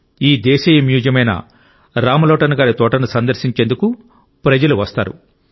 ఈ దేశీయ మ్యూజియమైన రామ్లోటన్ గారి తోటను సందర్శించేందుకు ప్రజలు వస్తారు